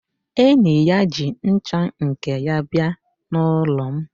Enyi ya ji ncha nke ya bịa n'ụlọ m